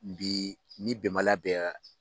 Bi ni bɛnbaliya bɛ